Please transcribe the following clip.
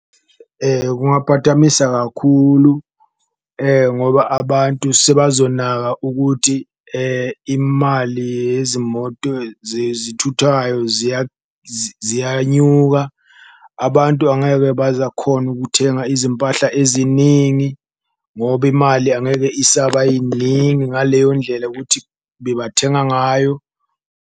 Kungaphatamisa kakhulu ngoba abantu sebazonaka ukuthi imali yezimoto zezithuthwayo ziyanyuka, abantu angeke bazakhona ukuthenga izimpahla eziningi ngoba imali angeke isaba yiningi ngaleyo ndlela ukuthi bebathenga ngayo.